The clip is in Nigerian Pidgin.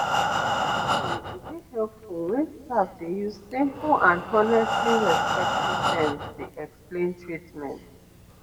actually e dey helpful wen staff dey use simple and honestly respectful terms dey explain treatments